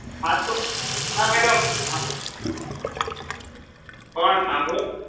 એ madam પણ સાંભળો